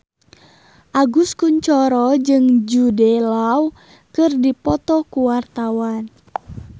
Agus Kuncoro jeung Jude Law keur dipoto ku wartawan